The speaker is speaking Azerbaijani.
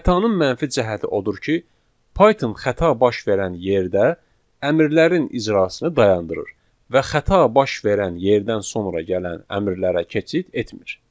Xətanın mənfi cəhəti odur ki, Python xəta baş verən yerdə əmrlərin icrasını dayandırır və xəta baş verən yerdən sonra gələn əmrlərə keçid etmir.